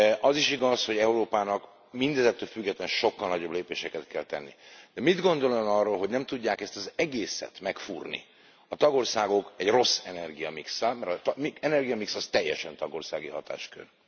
Az is igaz, hogy Európának mindezektől függetlenül sokkal nagyobb lépéseket kell tenni. De mit gondol Ön arról, hogy nem tudják ezt az egészet megfúrni a tagországok egy rossz energiamixszel? Mert az energiamix, az teljesen tagországi hatáskör.